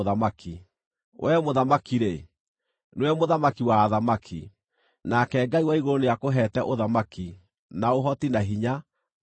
Wee mũthamaki-rĩ, nĩwe mũthamaki wa athamaki. Nake Ngai wa igũrũ nĩakũheete ũthamaki, na ũhoti, na hinya, na riiri;